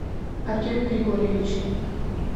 артеме григорьевиче